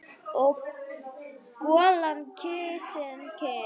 Og golan kyssir kinn.